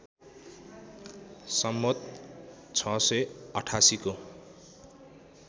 सम्वत् ६८८ को